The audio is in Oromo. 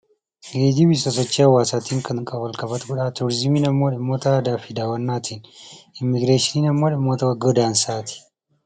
Geejjibni sosochii hawaasaatiin kan wal qabatu godha. Turiizimiin immoo dhimmoota aadaa fi daawwannaa ti. Immigireeshiniin immoo dhimmoota godaansaa ti.